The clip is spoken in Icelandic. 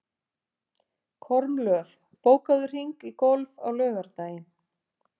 Kormlöð, bókaðu hring í golf á laugardaginn.